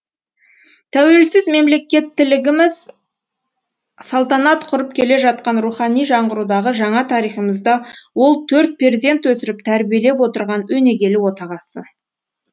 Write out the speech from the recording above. тәуелсіз мемлекеттілігіміз салтанат құрып келе жатқан рухани жаңғырудағы жаңа тарихымызда ол төрт перзент өсіріп тәрбиелеп отырған өнегелі отағасы